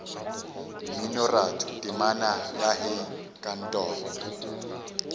mminoratho temana ya hei kantoro